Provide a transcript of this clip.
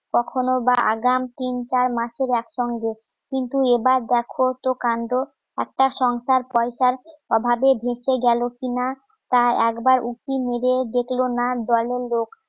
কখনো বা আগাম তিন চার মাসের অ্যাকাউন্টে কিন্তু এবার দেখো তো কাণ্ড একটা সংসার পয়সার অভাবে ভেসে গেলো কিনা তা একবার উঁকি মেরে দেখলো না দলের লোক